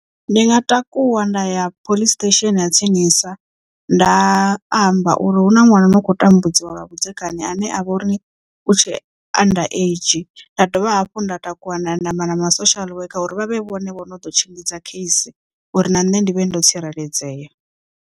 Ndi nga takuwa nda ya police station ya tsinisa nda amba uri hu na ṅwana ano khou tambudziwa lwa vhudzekani ane a vha uri u tshe underage nda dovha hafhu nda takuwa ndaya nda amba na ma social worker uri vha vhe vhone vhono ḓo tshimbidza kheisi uri na nṋe ndi vhe ndo tsireledzea.